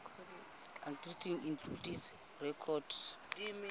articles including recorded